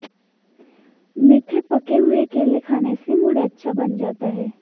मीठे पके हुए केले खाने से मूड अच्छा बन जाता है